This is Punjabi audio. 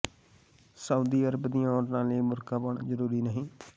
ਸਾਊਦੀ ਅਰਬ ਦੀਆਂ ਔਰਤਾਂ ਲਈ ਬੁਰਕਾ ਪਾਉਣਾ ਜ਼ਰੂਰੀ ਨਹੀਂ